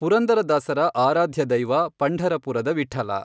ಪುರಂದರದಾಸರ ಆರಾಧ್ಯದೈವ ಪಂಢರಪುರದ ವಿಠ್ಠಲ.